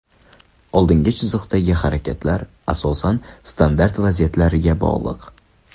Oldingi chiziqdagi harakatlar asosan standart vaziyatlariga bog‘liq.